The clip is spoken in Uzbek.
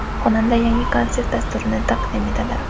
Xonanda yangi konsert dasturini taqdim etadi.